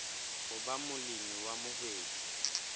ho ba molemi wa mohwebi